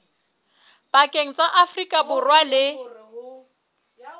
pakeng tsa afrika borwa le